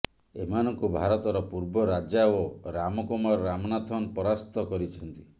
ଏମାନଙ୍କୁ ଭାରତର ପୂର୍ବ ରାଜା ଓ ରାମକୁମାର ରାମନାଥନ ପରାସ୍ତ କରିଛନ୍ତି